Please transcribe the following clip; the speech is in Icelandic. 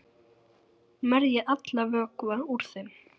Merjið allan vökva úr þeim.